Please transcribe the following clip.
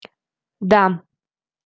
да